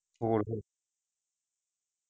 ਹੋਰ ਫਿਰ .